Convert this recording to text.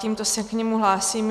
Tímto se k němu hlásím.